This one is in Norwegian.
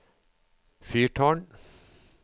fyrtårn